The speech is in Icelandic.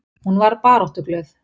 Hún var baráttuglöð.